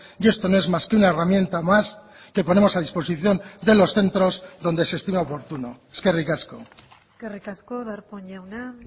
y esto no es más que una herramienta más que ponemos a disposición de los centros donde se estima oportuno eskerrik asko eskerrik asko darpón jauna